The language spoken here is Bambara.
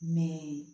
Mɛ